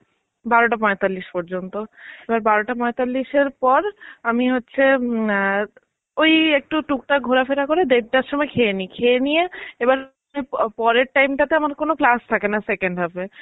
বারোটা পয়তাল্লিশ পর্যন্ত. এবার বারোটা পয়তাল্লিশের পর আমি হচ্ছে, উম ওই একটু টুক টাক ঘোরা ফেরা করে দেড়টার সময় খেয়ে নি. খেয়ে নিয়ে এবার আমি পরের time তাতে আমার class থাকেনা second half এ.